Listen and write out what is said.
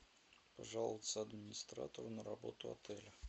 пожаловаться администратору на работу отеля